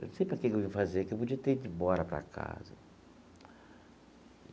Não sei o que que eu vim fazer, que eu podia ter ido embora para casa.